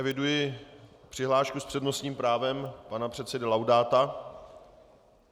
Eviduji přihlášku s přednostním právem pana předsedy Laudáta.